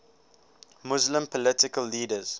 muslim political leaders